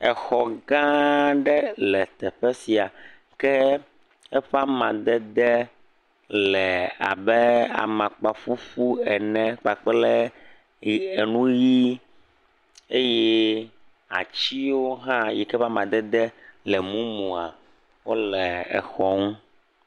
Exɔ gã aɖe le teƒe sia ke eƒe amadede le abe amakpaƒuƒu ene kpakple enu ʋii ʋie eye atsiwo hã yi ke be amadede le mumua wole exɔ ŋu.